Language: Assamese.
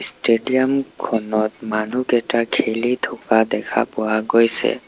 ষ্টেডিয়ামখনত মানুহকেইটা খেলি থকা দেখা পোৱা গৈছে।